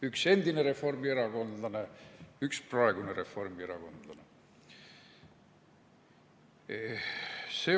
Üks endine reformierakondlane, üks praegune reformierakondlane.